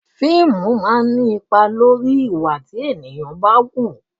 Fíìmù máa ń ní ipa lórí ìwà tí ènìyàn ń wù